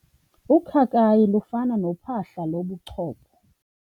Ukhakayi lufana nophahla lobuchopho.